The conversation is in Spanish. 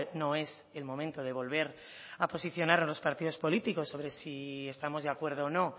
no es el momento de volver a posicionar a los partidos políticos sobre si estamos de acuerdo o no